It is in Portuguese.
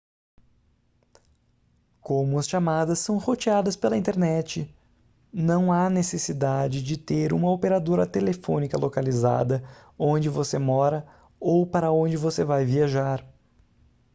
como as chamadas são roteadas pela internet não há necessidade de ter uma operadora telefônica localizada onde você mora ou para onde você vai viajar